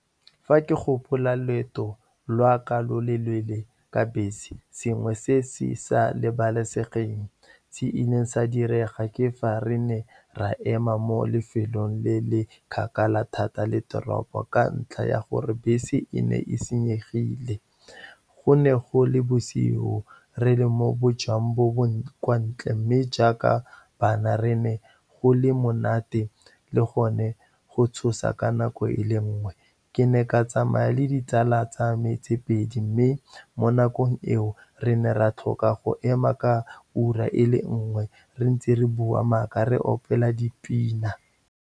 Fa ke gopola loeto lwa ka lo lo leele ka bese, sengwe se se sa lebalesegeng, se ileng sa direga, ke fa re ne ra ema mo lefelong le le kgakala thata le toropo ka ntlha ya gore bese e ne e senyegile. Go ne go le bosigo, re le mo bojang bo bo kwa ntle, mme jaaka bana, re ne go le monate le gone go tshosa ka nako e le nngwe. Ke ne ka tsamaya le ditsala tsa me tse pedi, mme mo nakong eo, re ne ra tlhoka go ema ka ura ele nngwe. Re ntse re bua maaka, re opela dipina.